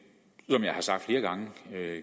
er